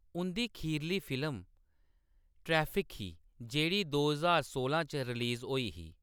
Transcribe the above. उंʼदी खीरली film traffic ही, जेह्‌‌ड़ी दो ज्हार सोलां च रिलीज होई ही।